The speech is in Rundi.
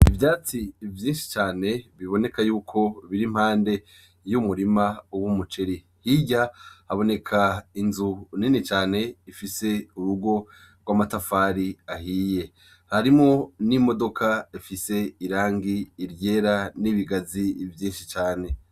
Ivyatsi vyinshi cane biboneka yuko biri impande y'umurima w'umuceri, hirya haboneka inzu nini cane ifise urugo rw'amatafari ahiye, harimwo n'imodoka ifise irangi ryera n'ibigazi vyinshi cane.